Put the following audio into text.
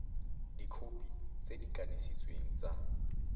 dikhopi tse di kanisitsweng tsa